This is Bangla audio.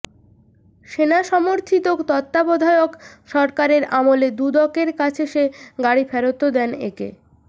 সেনা সমর্থিত তত্ত্বাবধায়ক সরকারের আমলে দুদকের কাছে সে গাড়ি ফেরতও দেন একে